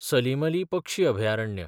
सलीम अली पक्षी अभयारण्य